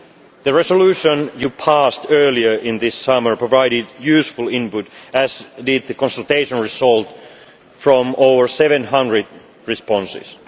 The resolution you passed earlier this summer provided useful input, as did the consultation result from over 700 responses.